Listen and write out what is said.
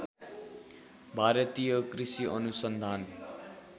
भारतीय कृषि अनुसन्धान